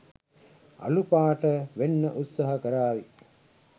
අලු පාට වෙන්න උත්සහ කරාවි.